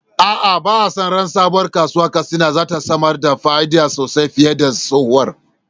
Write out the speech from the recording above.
A’a, ba a sa ran sabuwar kasuwar Katsina za ta samar da fa’ida sosai fiye da tsohuwar.